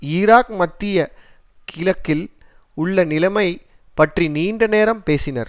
Iraq மத்திய கிழக்கில் உள்ள நிலைமை பற்றி நீண்ட நேரம் பேசினர்